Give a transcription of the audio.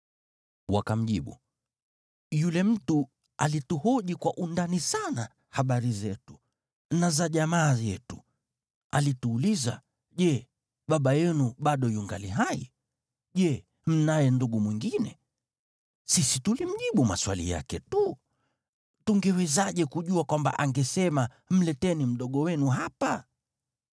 Wakamjibu, “Yule mtu alituhoji kwa undani sana habari zetu na za jamaa yetu. Alituuliza, ‘Je, baba yenu bado yungali hai? Je mnaye ndugu mwingine?’ Sisi tulimjibu maswali yake tu. Tungewezaje kujua kwamba angesema, ‘Mleteni mdogo wenu hapa’?”